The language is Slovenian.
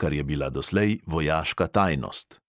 kar je bila doslej vojaška tajnost.